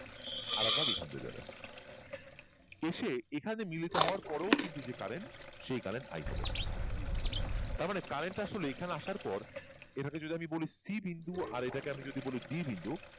আর এক বার এই খান দিয়ে যাবে এসে এখানে মিলিত হয়ে যাওয়ার পরেও কিন্তু current সেই current তাই হবে তাঁর মানে current টা এখানে আসার পর এটাকে আমি যদি বলি c বিন্দু আর এটাকে যদি বলি d বিন্দু